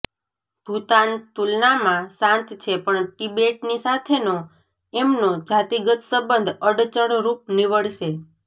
ભૂતાન તુલનામાં શાંત છે પણ તિબેટની સાથેનો એમનો જાતિગત સંબંધ અડચણ રૂપ નીવડશે